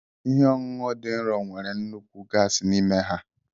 Ihe ọṅụṅụ dị nro nwere nnukwu gas n'ime ha.